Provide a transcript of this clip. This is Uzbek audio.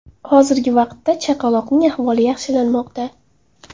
Hozirgi vaqtda chaqaloqning ahvoli yaxshilanmoqda.